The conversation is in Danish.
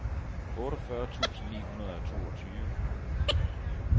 otteogfyrre tusind ni hundrede og toogtyve